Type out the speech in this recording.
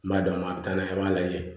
N b'a d'a ma a bɛ taa n'a ye a b'a lajɛ